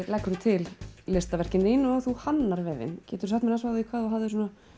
til listaverkin þín og þú hannar vefinn geturðu sagt mér frá því hvað þú hafðir